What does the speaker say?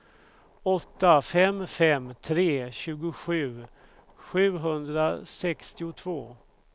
åtta fem fem tre tjugosju sjuhundrasextiotvå